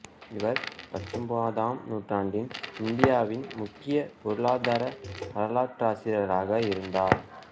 இவர் பத்தொன்பதாம் நூற்றாண்டின் இந்தியாவின் முக்கிய பொருளாதார வரலாற்றாசிரியராக இருந்தார்